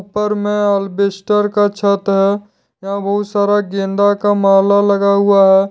उपर मैं अल्बेस्टर का छत है यहाँ बहुत सारा गेंदा का माला लगा हुआ है।